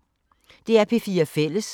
DR P4 Fælles